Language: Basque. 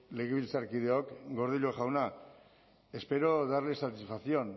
legebiltzarkideok gordillo jauna espero darle satisfacción